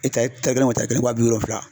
kelen o wa bi wolonwula.